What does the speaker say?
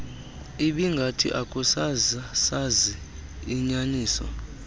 ibingathi akusasi inyaniso